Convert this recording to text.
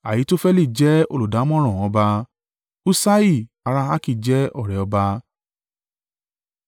Ahitofeli jẹ́ olùdámọ̀ràn ọba. Huṣai ará Arki jẹ́ ọ̀rẹ́ ọba.